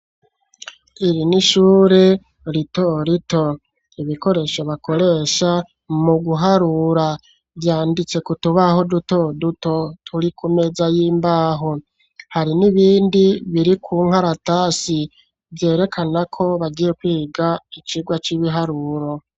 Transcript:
Iri n`ishuri ritoroto ibikoresho bakoresha mu guharura vyanditse ku tubaho duto duto turi ku meza y`imbaho hari n`ibindi biri ku nkararatasi vyerekanako bagiye kwiga icirwa c`ibiharuro.